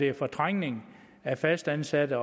er fortrængning af fastansatte